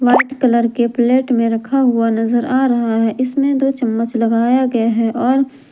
white colour के plate में रखा हुआ नजर आ रहा है इसमें दो चम्मच लगाया गया है और--